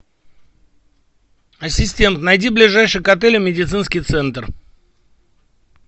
ассистент найди ближайший к отелю медицинский центр